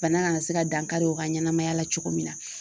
Bana kana se ka dankari o ka ɲɛnamaya la cogo min na.